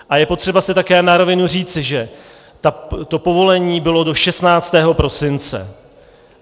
A je potřeba si také na rovinu říci, že to povolení bylo do 16. prosince.